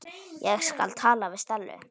Ég skal tala við Stellu.